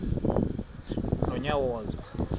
nonyawoza